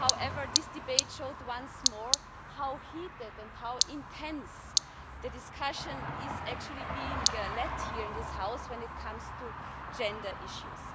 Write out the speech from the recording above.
However, this debate has shown once more how heated and how intense the discussion actually is here in this House when it comes to gender issues.